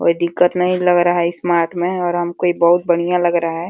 कोई दिक्कत नहीं लग रहा है इस मार्ट में और हम को ये बहुत बढ़ियां लग रहा है।